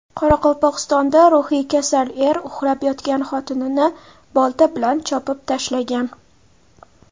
Qoraqalpog‘istonda ruhiy kasal er uxlab yotgan xotinini bolta bilan chopib tashlagan.